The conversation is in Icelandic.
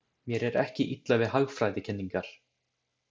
Mér er ekki illa við hagfræðikenningar.